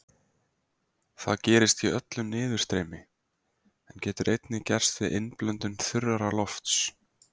Það gerist í öllu niðurstreymi, en getur einnig gerst við innblöndun þurrara lofts.